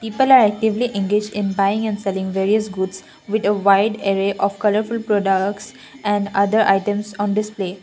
actively engage in buying and selling various goods with wide array of colourful products and other items on this place.